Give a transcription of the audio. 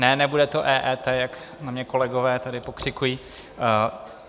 Ne, nebude to EET, jak na mě kolegové tady pokřikují.